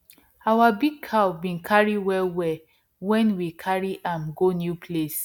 our big cow bin cary well well when we carry am go new place